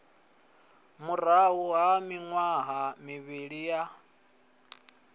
murahu ha miṅwaha mivhili ya